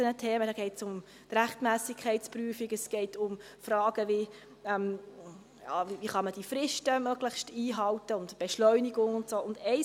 Es geht um die Rechtsmässigkeitsprüfung, es geht um Fragen, wie die Fristen möglichst eingehalten werden können und die Beschleunigung und so weiter.